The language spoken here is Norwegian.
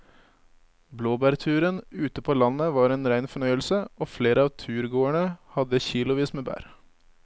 Blåbærturen ute på landet var en rein fornøyelse og flere av turgåerene hadde kilosvis med bær.